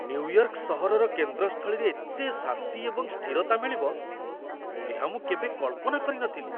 New York ସହରର କେନ୍ଦ୍ରସ୍ଥଳୀରେ ଏତେ ଶାନ୍ତି ଏବଂ ସ୍ଥିରତା ମିଳିବ, ଏହା ମୁଁ କେବେ କଳ୍ପନା କରି ନ ଥିଲି!